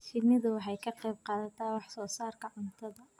Shinnidu waxay ka qayb qaadataa wax soo saarka cuntada.